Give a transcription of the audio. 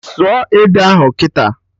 Sụọ ede ahụ kịta!